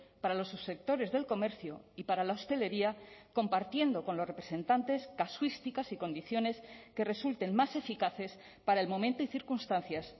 para los subsectores del comercio y para la hostelería compartiendo con los representantes casuísticas y condiciones que resulten más eficaces para el momento y circunstancias